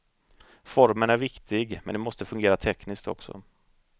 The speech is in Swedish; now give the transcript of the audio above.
Formen är viktig, men det måste fungera tekniskt också.